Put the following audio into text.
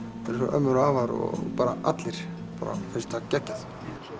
ömmur og afar og bara allir finnst það geggjað